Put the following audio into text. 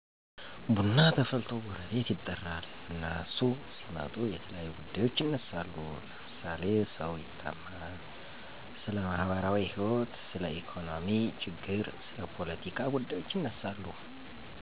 ቡና ተፈልቶ ጎረቤት ይጠራል። እነሱ ሲመጡ የተለያዩ ጉዳዬች ይነሳሉ ለምሳሌ ሰው ይታማል፣ ስለማህበራዎህይወት፣ ስለኢኮኖሚ ችግር፣ ስለ ፓለቲካ ጉዳዩች ይነሳሉ።